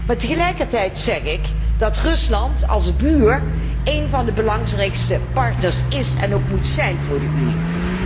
Maar tegelijkertijd is het zo dat Rusland als buur één van de belangrijkste partners is en ook moet zijn voor de Unie.